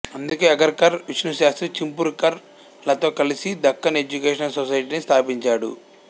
అందుకే అగార్కర్ విష్ణుశాస్త్రి చిప్లుంకర్ లతో కలిసి దక్కన్ ఎడ్యుకేషనల్ సొసైటీని స్థాపించాడు